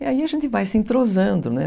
E aí a gente vai se entrosando, né?